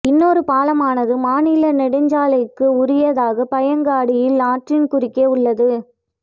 இன்னொரு பாலமானது மாநில நெடுஞ்சாலைக்கு உரியதாக பாயங்காடியில் ஆற்றின் குறுக்கே உள்ளது